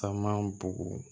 Taama bugu